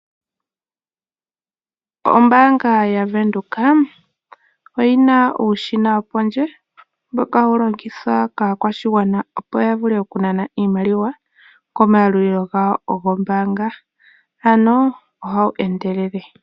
Ombaanga yaVenduka oyina uushina wopondje mboka hawu longithwa kaakwashigwana opo yavule okunana iimaliwa komayalulilo gawo gombaanga. Ano ohawu endelele.